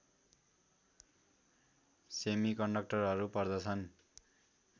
सेमिकन्डक्टरहरू पर्दछन्